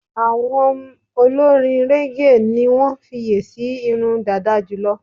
Àwọm olorin régè ni wọ́n fiye si irun dàda jùlọ.